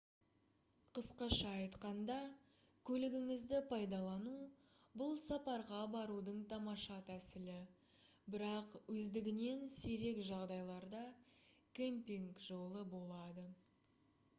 қысқаша айтқанда көлігіңізді пайдалану — бұл сапарға барудың тамаша тәсілі бірақ өздігінен сирек жағдайларда «кемпинг» жолы боалды